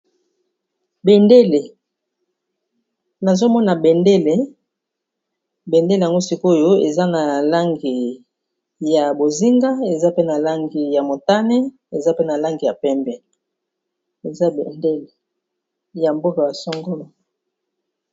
Bendele, nazo mona bendele. Bendele yango sikoyo eza na langi ya bozinga, eza pe na langi ya motane, eza pe na langi ya pembe. Eza bendele ya mboka ya songolo.